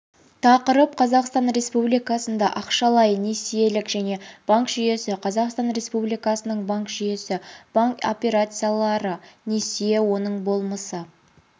тақырып қазақстан республикасында ақшалай-несиелік және банк жүйесі қазақстан республикасының банк жүйесі банк операциялары несие оның болмысы